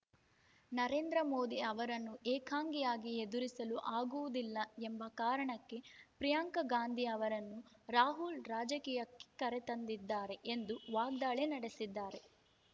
ನರೇಂದ್ರ ಮೋದಿ ಅವರನ್ನು ಏಕಾಂಗಿಯಾಗಿ ಎದುರಿಸಲು ಆಗುವುದಿಲ್ಲ ಎಂಬ ಕಾರಣಕ್ಕೆ ಪ್ರಿಯಾಂಕಾ ಗಾಂಧಿ ಅವರನ್ನೂ ರಾಹುಲ್‌ ರಾಜಕೀಯಕ್ಕೆ ಕರೆತಂದಿದ್ದಾರೆ ಎಂದು ವಾಗ್ದಾಳಿ ನಡೆಸಿದ್ದಾರೆ